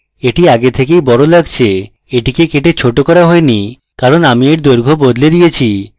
এটি আগে থেকেই বেশ বড় লাগছে এটিকে কেটে short করা হয়নি কারণ আমি এর দৈর্ঘ্য বদলে দিয়েছি